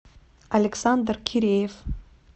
александр киреев